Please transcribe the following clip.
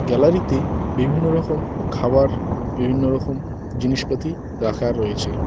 Gallery তে বিভিন্ন রকম খাবার বিভিন্ন রকম জিনিসপাতি রাখা রয়েছে।